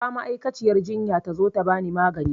Kira ma'aikaciyar jinya ta zo ta bani magani